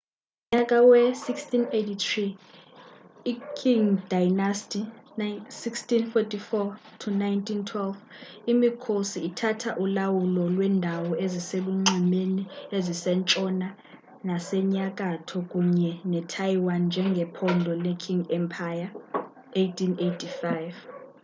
ngomnyaka we-1683 i-qing dynasty 1644-1912 imikhosi ithatha ulawulo lweendawo eziselunxwemeni ezisentshona nasenyakatho kunye netaiwan njengephondo le-qing empire ngo-1885